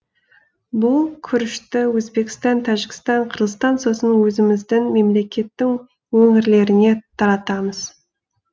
бұл күрішті өзбекстан тәжікстан қырғызстан сосын өзіміздің мемлекеттің өңірлеріне таратамыз